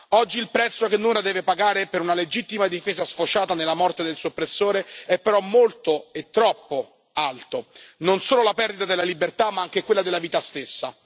Oggi il prezzo che Noura deve pagare per una legittima difesa sfociata nella morte del suo oppressore è però molto e troppo alto non solo la perdita della libertà, ma anche quella della vita stessa.